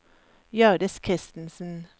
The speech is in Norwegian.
Hjørdis Christensen